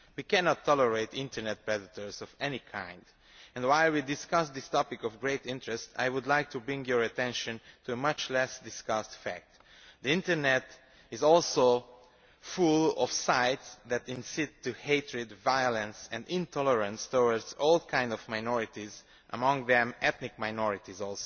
We cannot tolerate Internet predators of any kind, and while we are discussing this topic of great interest I would like to draw your attention to a much less discussed fact the Internet is also full of sites that incite hatred, violence and intolerance towards all kinds of minorities, among them ethnic minorities.